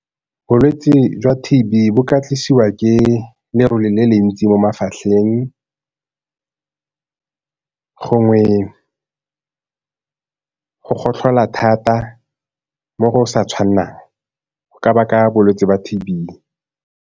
Bolwetse jwa T_B bo ka tlisiwa ke lerole le le ntsi mo mafatlheng gongwe go gotlhola thata mo go sa tshwanelang go ka baka bolwetse ba T_B.